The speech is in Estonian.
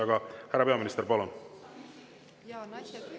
Aga, härra peaminister, palun!